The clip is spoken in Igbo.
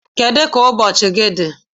Kedu ka ụbọchị gị dị?